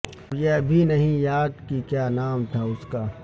اب یہ بھی نہیں یاد کہ کیا نام تھا اس کا